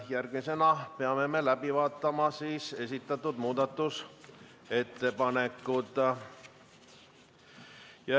Järgmisena peame läbi vaatama esitatud muudatusettepanekud.